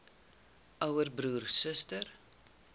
ouer broer suster